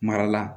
Mara la